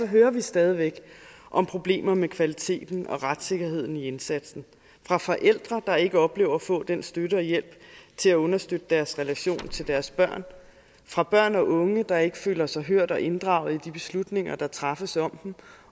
hører vi stadig væk om problemer med kvaliteten og retssikkerheden i indsatsen fra forældre der ikke oplever at få den støtte og hjælp til at understøtte deres relation til deres børn fra børn og unge der ikke føler sig hørt og inddraget i de beslutninger der træffes om dem